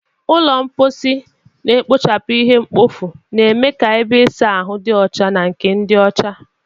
Ụlọ mposi na-ekpochapụ ihe mkpofu, na-eme ka ebe ịsa ahụ dị ọcha na nke dị ọcha.